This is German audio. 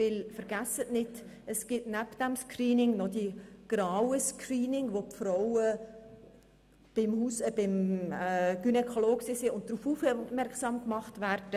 Denn vergessen Sie nicht, dass es nebst diesem Screening noch die grauen Screenings gibt, wo Frauen, die beim Gynäkologen waren, darauf aufmerksam gemacht werden.